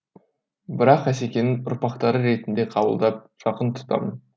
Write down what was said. бірақ асекеңнің ұрпақтары ретінде қабылдап жақын тұтамын